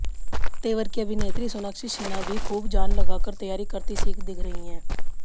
तेवर की अभिनेत्री सोनाक्षी सिन्हा भी खूब जान लगाकर तैयार करती दिख रहीं हैं